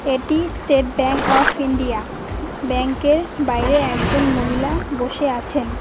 এটি State Bank of India bank এর বাইরে একজন মহিলা বসে আছেন।